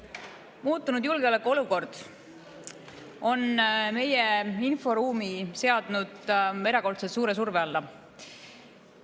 Muutunud julgeolekuolukord on meie inforuumi seadnud erakordselt suure surve alla.